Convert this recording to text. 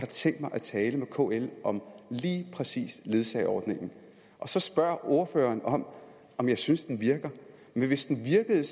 tænkt mig tale med kl om lige præcis ledsageordningen så spørger ordføreren om om jeg synes den virker hvis den virkede